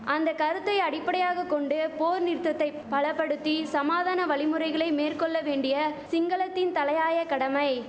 அந்த கருத்தை அடிப்படையாக கொண்டு போர் நிறுத்தத்தை பலபடுத்தி சமாதான வழிமுறைகளை மேற்கொள்ள வேண்டிய சிங்களத்தின் தலையாய கடமை